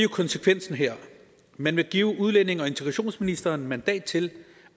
konsekvensen her man vil give udlændinge og integrationsministeren mandat til